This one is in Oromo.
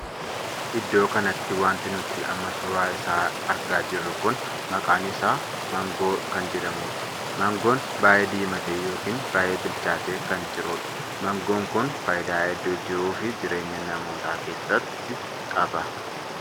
Iddoo kanatti wanti nuti amma suuraa isaa argaa jirru kun maqaan isaa margoo kan jedhamuudha. mangoon baay'ee diimatee ykn baay'ee bilchaatee kan jirudha. mangoo kun faayidaa hedduu jiruu fi jireenya namootaa keessatti qaba.